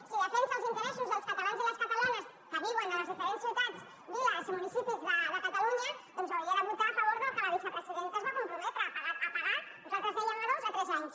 si defensa els interessos dels catalans i les catalanes que viuen a les diferents ciutats viles i municipis de catalunya doncs hauria de votar a favor del que la vicepresidenta es va comprometre a pagar nosaltres dèiem a dos a tres anys